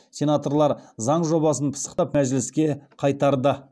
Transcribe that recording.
сенаторлар заң жобасын пысықтап мәжіліске қайтарды